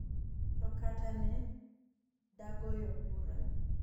to kata, ne dagoyo kura